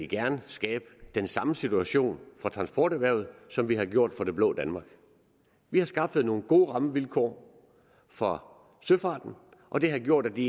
gerne skabe den samme situation for transporterhvervet som vi har gjort for det blå danmark vi har skaffet nogle gode rammevilkår for søfarten og det har gjort at de